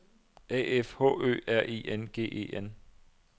A F H Ø R I N G E N